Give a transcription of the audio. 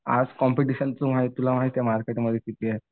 Competition पण हाय तुला माहिती ये मार्केटचं, मार्केटमध्ये किती आहे?